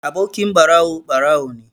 Abokin ɓarawo, ɓarawo ne.